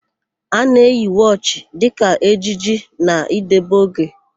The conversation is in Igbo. A na-eyi wọchị dịka ejiji na idebe oge.